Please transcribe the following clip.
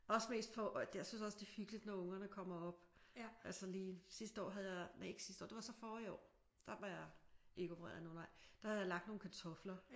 Også mest for at jeg synes også det er hyggeligt når ungerne kommer op og så lige sidste år havde jeg næ ikke sidste år det var så forrige år der var jeg ikke opereret nej der havde jeg lagt nogle kartofler